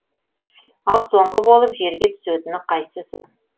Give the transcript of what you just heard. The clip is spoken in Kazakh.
ал соңғы болып жерге түсетіні қайсысы